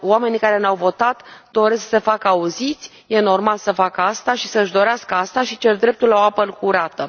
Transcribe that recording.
Oamenii care ne au votat doresc să se facă auziți, este normal să facă asta și să își dorească asta și cer dreptul la o apă curată.